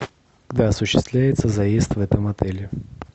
когда осуществляется заезд в этом отеле